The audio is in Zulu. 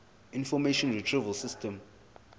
information retrieval system